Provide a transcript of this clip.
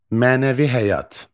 Mənəvi həyat.